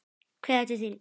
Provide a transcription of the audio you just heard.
Kveðja til þín.